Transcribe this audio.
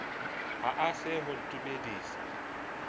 ha e se ho ntumedisa